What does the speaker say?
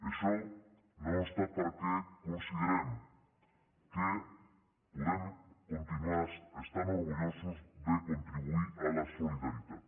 això no obsta perquè considerem que podem continuar estant orgullosos de contribuir a la solidaritat